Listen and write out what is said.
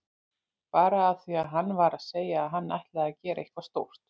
Bara af því að hann var að segja að hann ætlaði að gera eitthvað stórt.